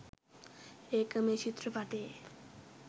ඒක මේ චිත්‍රපටයේ.